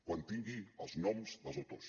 quan tingui els noms dels autors